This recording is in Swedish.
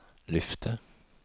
lyfte